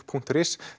punktur is